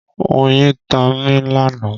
Oyin ta mi lánàá.